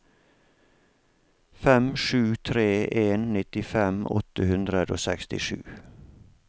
fem sju tre en nittifem åtte hundre og sekstisju